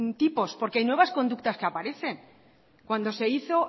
tipos porque hay nuevas conductas que aparecen cuando se hizo